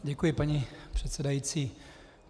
Děkuji, paní předsedající.